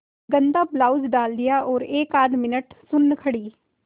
गंदा ब्लाउज डाल दिया और एकआध मिनट सुन्न खड़ी